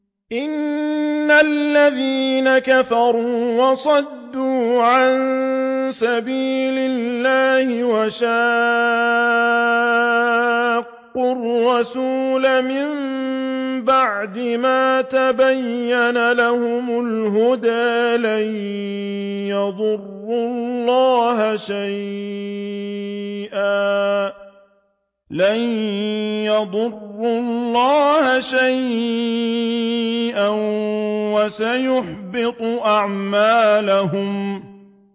إِنَّ الَّذِينَ كَفَرُوا وَصَدُّوا عَن سَبِيلِ اللَّهِ وَشَاقُّوا الرَّسُولَ مِن بَعْدِ مَا تَبَيَّنَ لَهُمُ الْهُدَىٰ لَن يَضُرُّوا اللَّهَ شَيْئًا وَسَيُحْبِطُ أَعْمَالَهُمْ